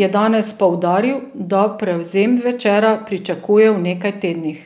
je danes poudaril, da prevzem Večera pričakuje v nekaj tednih.